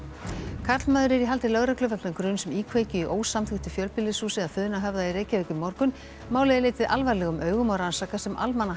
karlmaður er í haldi lögreglu vegna gruns um íkveikju í ósamþykktu fjölbýlishúsi að Funahöfða í Reykjavík í morgun málið er litið alvarlegum augum og rannsakað sem